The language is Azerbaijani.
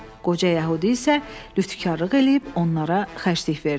Qoca Yəhudi isə lütkarlıq eləyib onlara xərclik verdi.